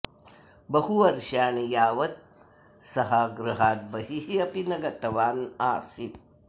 बहुवर्षाणि यावत् सः गृहात् बहिः अपि न गतवान् आसीत्